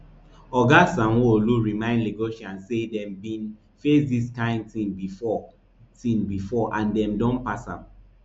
oga sanwoolu remind lagosians say dem bin face dis kain tin bifor tin bifor and dem don pass am